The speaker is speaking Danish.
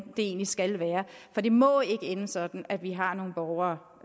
det egentlig skal være for det må ikke ende sådan at vi har nogle borgere